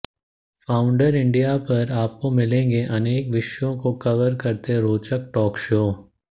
founder India पर आपको मिलेंगे अनेक विषयों को कवर करते रोचक टॉक शो